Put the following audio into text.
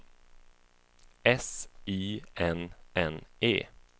S I N N E